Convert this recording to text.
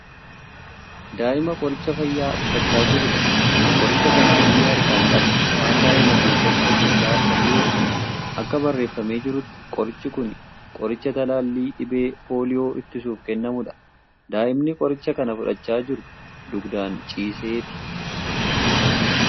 Daa'ima qoricha fayyaa fudhachaa jiruudha. Qoricha kana namni harkaan qabee afaan daa'imaa keessatti buusaa kan jiruudha. Akka barreeffamee jirutti qorichi kuni qoricha tallallii dhibee pooliyoo ittisuuf kennamuudha. Daa'imni qoricha kana fudhachaa jiru dugdaan ciiseeti.